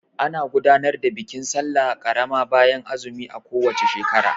Ana gudanar da bikin sallah karama bayan azumi a ko wace shekara.